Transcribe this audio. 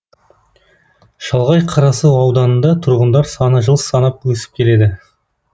шалғай қарасу ауданында тұрғындар саны жыл санап өсіп келеді